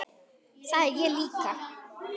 Það er ég líka